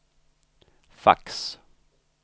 fax